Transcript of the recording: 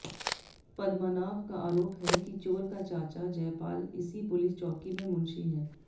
पद्मनाभ का आरोप है कि चोर का चाचा जयपाल इसी पुलिस चौकी में मुंशी है